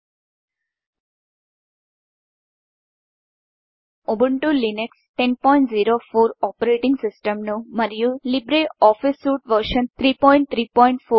మనం Ubuntu Linux 1004 operating సిస్టమ్గాను మరియు లీబ్రే ఆఫీస్ సూట్ వెర్షన్ 334ను ఉపయోగిస్తున్నాం